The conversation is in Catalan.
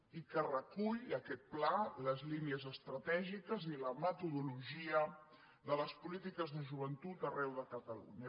i que recull aquest pla les línies estratègiques i la metodologia de les polítiques de joventut arreu de catalunya